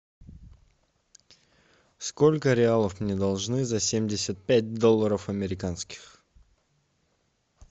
сколько реалов мне должны за семьдесят пять долларов американских